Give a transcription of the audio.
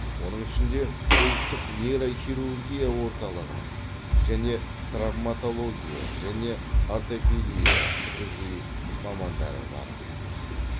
оның ішінде ұлттық нейрохирургия орталығының және травматология және ортопедия ғзи мамандары бар